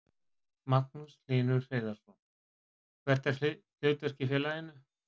Magnús Hlynur Hreiðarsson: Hvert er þitt hlutverk í félaginu?